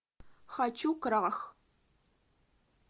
хочу крах